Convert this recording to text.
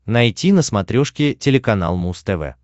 найти на смотрешке телеканал муз тв